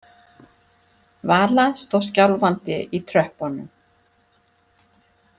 Vala stóð skjálfandi í tröppunum.